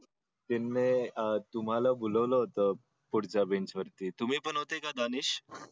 त्यांनी तुम्हाला बोललो होतो पुढच्या बेंचवरती तुम्ही पण होते का दानिश